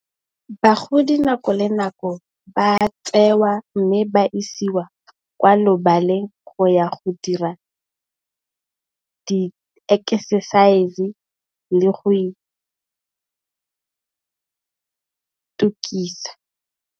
Bagodi nako le nako ba tsewa mme, ba isiwa kwa lebaleng go ya go dira di ekesesaese le go itukisa.